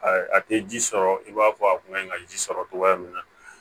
A tɛ ji sɔrɔ i b'a fɔ a kun ka ɲi ka ji sɔrɔ togoya min na